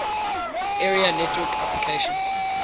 area network applications